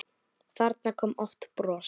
Þarna kom oft bros.